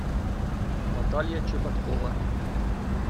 наталья чеботкова